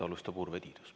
Alustab Urve Tiidus.